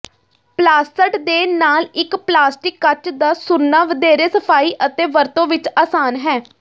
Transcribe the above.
ਪਲਾਸਟ ਦੇ ਨਾਲ ਇਕ ਪਲਾਸਟਿਕ ਕੱਚ ਦਾ ਸੁੱਰਣਾ ਵਧੇਰੇ ਸਫਾਈ ਅਤੇ ਵਰਤੋਂ ਵਿੱਚ ਆਸਾਨ ਹੈ